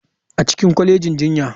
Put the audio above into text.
A cikin kwalejin jinya.